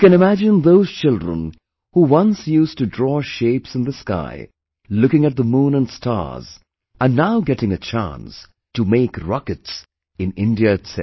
You can imagine those children who once used to draw shapes in the sky, looking at the moon and stars, are now getting a chance to make rockets in India itself